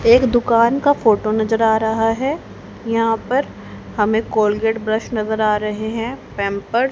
एक दुकान का फोटो नजर आ रहा है यहां पर हमें कोलगेट ब्रश नजर आ रहे हैं पैंपर्स--